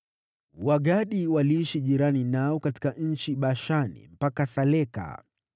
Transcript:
Wagadi waliishi jirani nao katika nchi ya Bashani, mpaka Saleka.